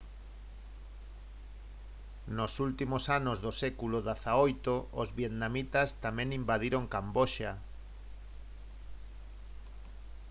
nos últimos anos do século xviii os vietnamitas tamén invadiron camboxa